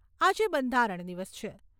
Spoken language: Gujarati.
આજે બંધારણ દિવસ છે.